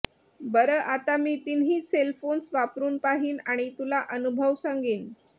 बरं आता मी तिन्ही सेल्फोन्स वापरुन पाहीन आणि तुला अनुभव सांगीन